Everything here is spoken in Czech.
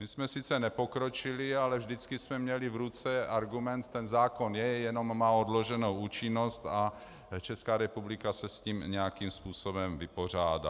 My jsme sice nepokročili, ale vždycky jsme měli v ruce argument - ten zákon je, jenom má odloženou účinnost a Česká republika se s tím nějakým způsobem vypořádá.